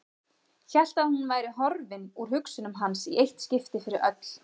Hélt að hún væri horfin úr hugsunum hans í eitt skipti fyrir öll.